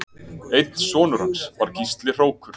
Einn sonur hans var Gísli hrókur